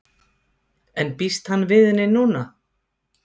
En býst hann við henni núna?